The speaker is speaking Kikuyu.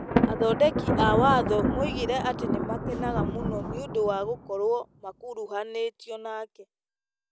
Athondeki a watho moigire atĩ nĩ makenaga mũno nĩ ũndũ wa gũkorwo makuruhanĩtĩ nake.